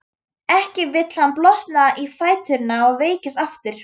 Ekki vill hann blotna í fæturna og veikjast aftur.